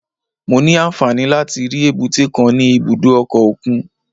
Mo ní àǹfààní láti rí èbúté kan ní ibùdó ọkọ̀ òkun